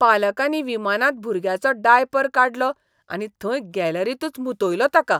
पालकांनी विमानांत भुरग्याचो डायपर काडलो आनी थंय गॅलरींतूंच मुतयलो ताका.